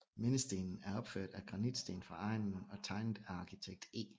Mindestenen er opført af granitsten fra egnen og tegnet af arkitekt E